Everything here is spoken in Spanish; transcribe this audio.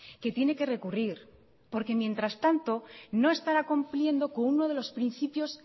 que tiene que recurrir porque mientras tanto no estará cumpliendo con uno de los principios